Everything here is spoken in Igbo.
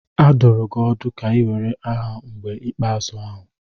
A dụrụ gị ọdụ ka ị were aha mgbe ikpeazụ ahụ.